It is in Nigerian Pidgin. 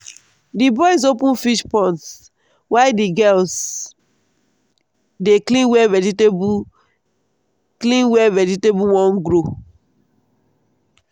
the boys open fish ponds while the girls dey clean where vegetable clean where vegetable won grow.